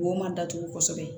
Wo ma datugu kosɛbɛ